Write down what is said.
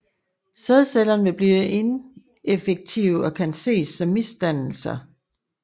Sædcellerne vil blive ineffektive og kan ses som misdannelser